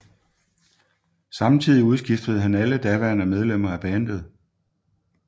Samtidig udskiftede han alle daværende medlemmer af bandet